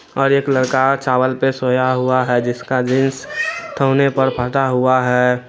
और एक लड़का चावल पे सोया हुआ है जिसका जींस ठौने पर फटा हुआ है ।